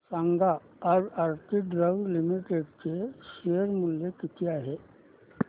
सांगा आज Aarti drugs limited चे शेअर मूल्य किती आहे